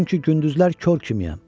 Çünki gündüzlər kor kimiyəm.